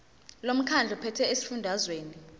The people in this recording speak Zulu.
lomkhandlu ophethe esifundazweni